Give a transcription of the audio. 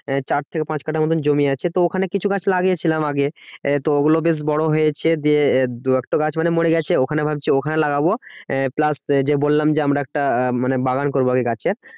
আহ চার থেকে পাঁচ কাটা মতন জমি আছে। তো ওখানে কিছু গাছ লাগিয়ে ছিলাম আগে, তো ওগুলো বেশ বড় হয়েছে দিয়ে দু এক টা গাছ মানে মরে গেছে। ওখানে ভাবছি ওখানে লাগাবো আহ plus যে বললাম যে আমরা একটা মানে বাগান করবো আমি গাছের